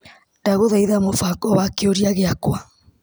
Ndagũthaitha mũbango wa kĩũria gĩakwa .